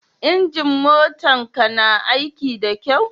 Injin motan ka na aiki da kyau?